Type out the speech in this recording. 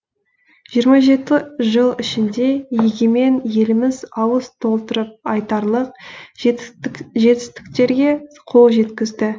жиырма жеті жыл ішінде егемен еліміз ауыз толтырып айтарлық жетістіктерге қол жеткізді